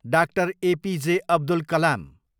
डा. ए.पी.जे. अब्दुल कलाम